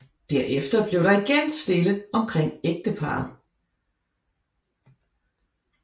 Derefter blev der igen stille omkring ægteparret